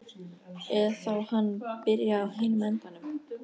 Eða þá hann byrjaði á hinum endanum.